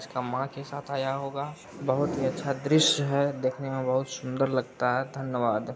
इसके माँ के साथ आया होगा। बहुत ही अच्छा दृश्य है देखने में बहुत सुंदर लगता है धन्यवाद।